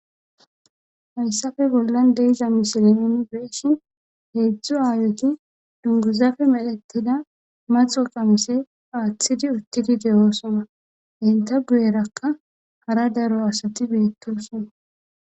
Hayssafe bollan deeiza misilenen beeshi heedzdzu aayoki dunguzafe medhetida maxo qamise aaththidi uttidi de oosona henta guyerakka hara daro asati beettosona